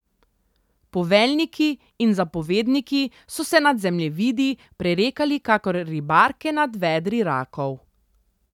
Poveljniki in zapovedniki so se nad zemljevidi prerekali kakor ribarke nad vedri rakov.